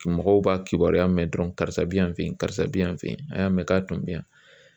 Mɔgɔw b'a kibaruya mɛn dɔrɔn karisa bi yan fɛ yen karisa bi yan a y'a mɛn k'a tun bɛ yan